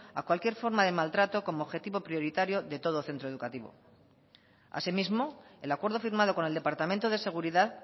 a cualquier forma de maltrato como objetivo prioritario de todo centro educativo asimismo el acuerdo firmado con el departamento de seguridad